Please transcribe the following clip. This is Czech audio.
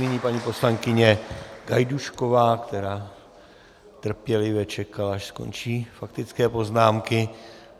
Nyní paní poslankyně Gajdůšková, která trpělivě čekala, až skončí faktické poznámky.